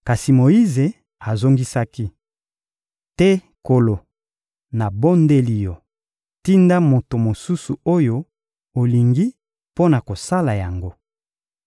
Kasi Moyize azongisaki: — Te Nkolo! Nabondeli Yo! Tinda moto mosusu oyo olingi mpo na kosala yango.